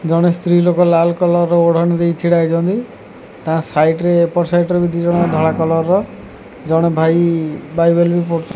ଜଣେ ସ୍ତ୍ରୀ ଲୋକ ଲାଲ୍ କଲର୍ ର ଓଢ଼ଣି ଦେଈ ଛିଡ଼ାହେଇଛନ୍ତି ତାଙ୍କ ସାଇଟ୍ ରେ ଏପଟ୍ ସାଇଟ୍ ରେ ମଧ୍ୟ ଧଳା କଲର୍ ର ଜଣେ ଭାଇ।